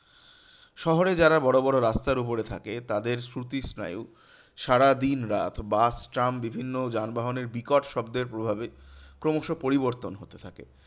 শহরে যারা বড়োবড়ো রাস্তার উপরে থাকে তাদের শ্রুতি স্নায়ু সারা দিনরাত বাস ট্রাম বিভিন্ন যানবাহনের বিকট শব্দের প্রভাবে ক্রমশ পরিবর্তন হতে থাকে।